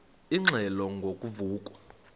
ingxelo ngo vuko